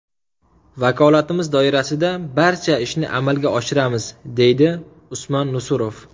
Vakolatimiz doirasida barcha ishni amalga oshiramiz”, deydi Usmon Nusurov.